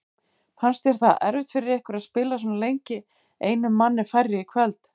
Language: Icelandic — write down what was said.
Fannst þér það erfitt fyrir ykkur að spila svona lengi einum manni færri í kvöld?